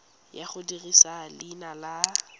ya go dirisa leina la